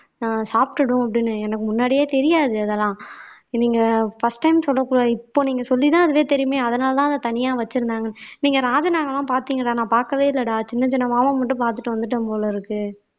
ஆஹ் சாப்பிட்டிடும் அப்படின்னு எனக்கு முன்னாடியே தெரியாது இதெல்லாம் நீங்க first time சொல்லக்குள்ள இப்போ நீங்க சொல்லித்தான் அதுவே தெரியுமே அதனாலதான் அத தனியா வச்சிருந்தாங்கன்னு நீங்க ராஜனாவெல்லாம் பார்த்தீங்களா நான் பார்க்கவே இல்லைடா சின்னச் சின்ன பாம்ப மட்டும் பார்த்துட்டு வந்துட்டேன் போல இருக்கு